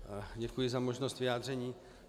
Děkuji za možnost vyjádření.